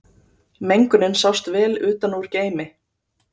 Mengunin sást vel utan úr geimi